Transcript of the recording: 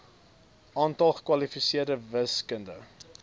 aantal gekwalifiseerde wiskunde